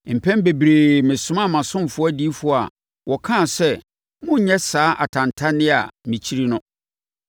Mpɛn bebree mesomaa mʼasomfoɔ adiyifoɔ a wɔkaa sɛ, ‘Monnyɛ saa atantanneɛ a mekyiri no!’